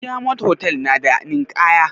Diyamond hotal na da ninkaya?